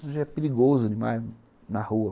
Hoje é perigoso demais na rua.